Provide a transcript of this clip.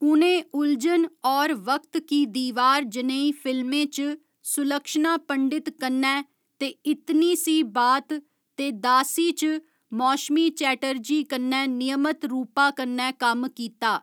उ'नें उलझन होर वक्त की दीवार जनेही फिल्में च सुलक्षणा पंडित कन्नै ते इतनी सी बात ते दासी च मौशमी चटर्जी कन्नै नियमत रूपा कन्नै कम्म कीता।